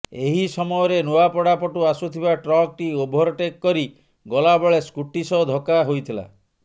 ଏହି ସମୟରେ ନୂଆପଡା ପଟୁ ଆସୁଥିବା ଟ୍ରକଟି ଓଭରଟେକ୍ କରି ଗଲାବେଳେ ସ୍କୁଟି ସହ ଧକ୍କା ହୋଇଥିଲା